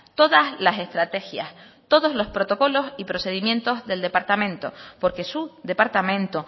todas las estrategias todos los protocolos y procedimientos del departamento porque su departamento